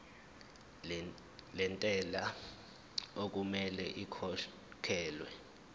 lentela okumele ikhokhekhelwe